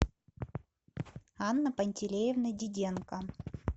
анна пантелеевна диденко